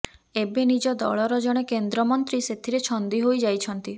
ଏବେ ନିଜ ଦଳର ଜଣେ କେନ୍ଦ୍ରମନ୍ତ୍ରୀ ସେଥିରେ ଛନ୍ଦି ହୋଇ ଯାଇଛନ୍ତି